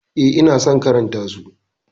Eh, ina son karanta su.